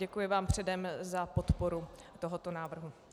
Děkuji vám předem za podporu tohoto návrhu.